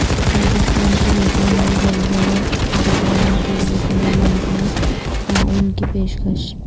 پاکستان کی نیپال میں زلزلہ زدگان کیلئے تمام ممکنہ تعاون کی پیشکش